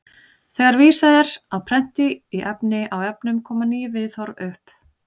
Þegar vísað er á prenti í efni á vefnum koma ný viðhorf upp.